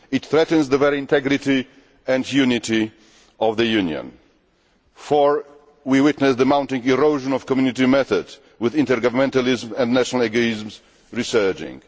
This threatens the very integrity and unity of the Union. Four we witness the mounting erosion of the Community method with intergovernmentalism and national egoisms resurging.